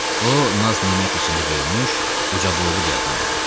O naz-nemət içində böyümüş, ucaboylu bir adam idi.